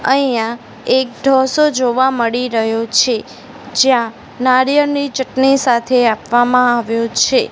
અહિયા એક ઢોસો જોવા મળી રહ્યો છે જ્યાં નારિયલની ચટણી સાથે આપવામા આવ્યો છે.